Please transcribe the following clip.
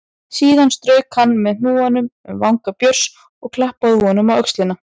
Síðan strauk hann með hnúanum um vanga Björns og klappaði honum á öxlina.